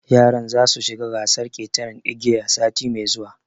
Yaran za su shiga gasar ƙetaran igiya sati mai zuwa